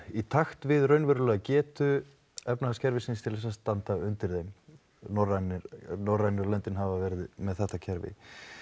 í takt við raunverulega getu efnahgaskerfisins til að standa undir þeim norrænu norrænu löndin hafa verið að með þetta kerfi